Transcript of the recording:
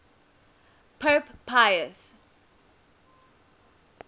pope pius